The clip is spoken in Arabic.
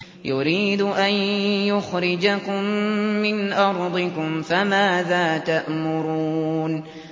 يُرِيدُ أَن يُخْرِجَكُم مِّنْ أَرْضِكُمْ ۖ فَمَاذَا تَأْمُرُونَ